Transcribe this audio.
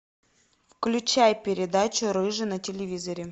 включай передачу рыжий на телевизоре